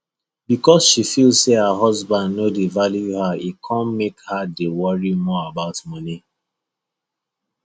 because she feel say her husband no dey value her e come make her dey worry more about money